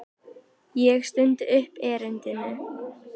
Ég stundi upp erindinu.